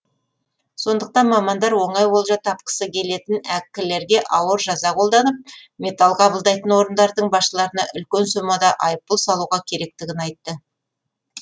сондықтан мамандар оңай олжа тапқысы келетін әккілерге ауыр жаза қолданып металл қабылдайтын орындардың басшыларына үлкен сомада айыппұл салуға керектігін айтты